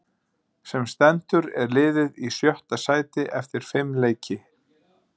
Sem stendur er liðið í sjötta sæti eftir fimm leiki.